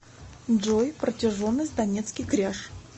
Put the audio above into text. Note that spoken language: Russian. джой протяженность донецкий кряж